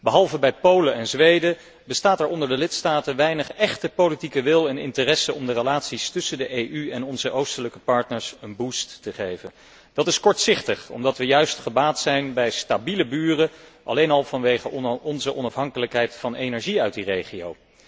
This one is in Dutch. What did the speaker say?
Behalve bij Polen en Zweden bestaat er onder de lidstaten weinig echte politieke wil en interesse om de relaties tussen de EU en onze oostelijke partners een boost te geven. Dat is kortzichtig omdat we juist gebaat zijn bij stabiele buren, alleen al vanwege onze afhankelijkheid van energie uit die regio.